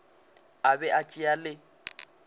a be a tšea le